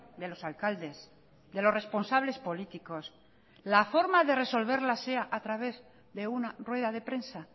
de los alcaldes de los responsables políticos la forma de resolverla sea a través de una rueda de prensa